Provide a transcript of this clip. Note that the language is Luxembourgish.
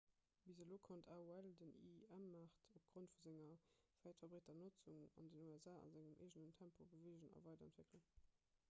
bis elo konnt aol den im-maart opgrond vu senger wäit verbreeter notzung an den usa a sengem eegenen tempo beweegen a weiderentwéckelen